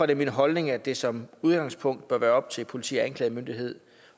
det min holdning at det som udgangspunkt bør være op til politi og anklagemyndighed